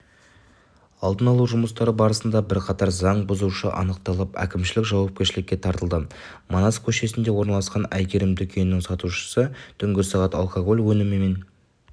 алдын алу жұмыстары барысында бірқатар заң бұзушы анықталып әкімшілік жауапкершілікке тартылды манас көшесінде орналасқан әйгерім дүкенінің сатушысы түнгі сағат алкоголь өнімін